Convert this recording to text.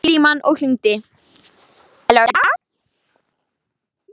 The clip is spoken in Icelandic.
Hann tók upp símann og hringdi.